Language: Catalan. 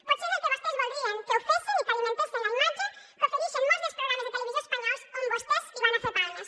potser és el que vostès voldrien que ho fessen i que alimentessen la imatge que oferixen molts dels programes de televisió espanyols on vostès hi van a fer palmes